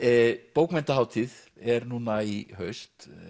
bókmenntahátíð er núna í haust